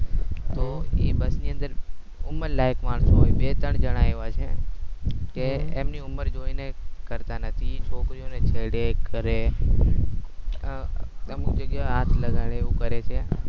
તો એ બસ ની અંદર ઉમર લાયક માણસો હોય બે ત્રણ જના આયવા છે કે એમની ઉમર જોઇને કરતા નથી છોકરીઓને છેડે કરે અ અમુક જગ્યા એ હાથ લગાડે એવું કરે છે.